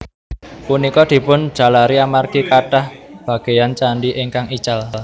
Punika dipun jalari amargi kanthah bagéyan candhi ingkang ical